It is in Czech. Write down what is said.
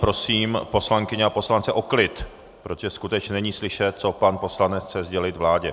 Prosím poslankyně a poslance o klid, protože skutečně není slyšet, co pan poslanec chce sdělit vládě.